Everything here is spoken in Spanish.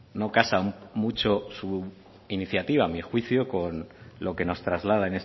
no casan mucho su iniciativa a mi juicio con lo que nos traslada